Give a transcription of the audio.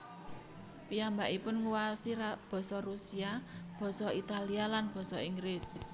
Piyambakipun nguwaosi Basa Rusia Basa Italia lan Basa Inggris